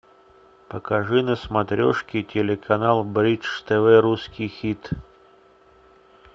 покажи на смотрешке телеканал бридж тв русский хит